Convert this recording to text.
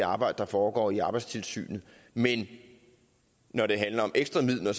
arbejde der foregår i arbejdstilsynet men når det handlede om ekstra midler